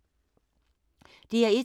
DR1